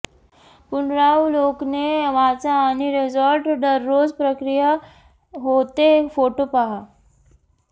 पुनरावलोकने वाचा आणि रिसॉर्ट दररोज प्रक्रिया होते फोटो पहा